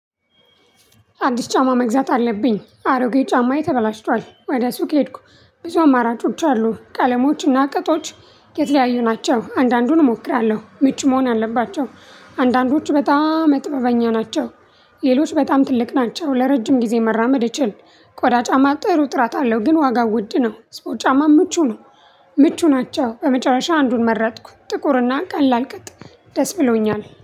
አዲስ ጫማ መግዛት አለብኝ አሮጌ ጫማዬ ተበላሽቷል ወደ ሱቅ ሄድኩ። ብዙ አማራጮች አሉ ቀለሞች እና ቅጦች የተለያዩ ናቸው። አንዳንዱን እሞክራለሁ ምቹ መሆን አለባቸው። አንዳንዶቹ በጣም መጥበበኛ ናቸው። ሌሎች በጣም ትልቅ ናቸው። ለረጅም ጊዜ መራመድ እችል። ቆዳ ጫማ ጥሩ ጥራት አለው ግን ዋጋው ውድ ነው። ሰፖርት ጫማም ምቹ ነው። ምቹ ናቸው በመጨረሻ አንዱን መረጥኩ። ጥቁር እና ቀላል ቅጥ ደስ ብሎኛል